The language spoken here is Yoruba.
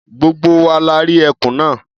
Gbogbo wa la rí ẹkùn náà.